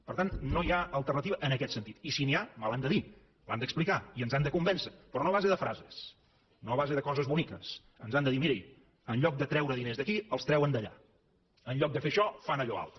per tant no hi ha alternativa en aquest sentit i si n’hi ha me l’han de dir l’han d’explicar i ens han de convèncer però no a base de frases no a base de coses boniques ens han de dir mirin en lloc de treure diners d’aquí els treuen d’allà en lloc de fer això fan allò altre